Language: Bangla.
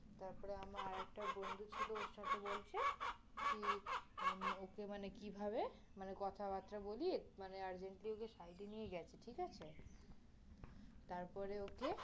তারপরে আমার আরেকটা বন্ধু ছিল ওর সাথে বলছে, কি, ওকে মানে কিভাবে, কথা বাতরা বলিয়ে, মানে urgently ওকে side নিয়ে গেছে, ঠিক আছে? তারপরে ওকে